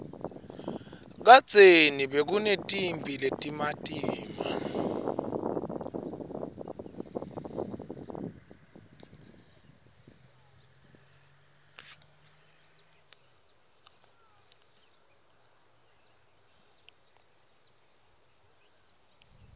kadzeni bekunetimphi letimatima